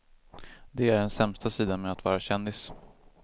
Det är den sämsta sidan med att vara kändis.